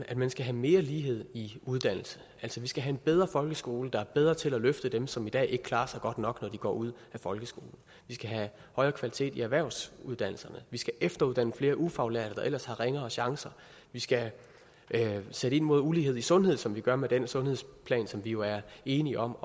at man skal have mere lighed i uddannelse altså vi skal have en bedre folkeskole der er bedre til at løfte dem som i dag ikke klarer sig godt nok når de går ud af folkeskolen vi skal have højere kvalitet i erhvervsuddannelserne og vi skal efteruddanne flere ufaglærte der ellers har ringere chancer vi skal sætte ind mod ulighed i sundhed som vi gør med den sundhedsplan som vi jo er enige om